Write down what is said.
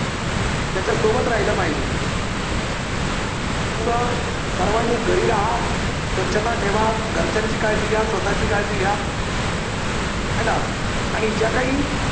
त्याच्या सोबत राहिले पाहिजे. सर्वांनी घरी राहा, स्वच्छता ठेवा, घरच्यांची काळजी घ्या, स्वतःची काळजी घ्या ना आणि ज्या काही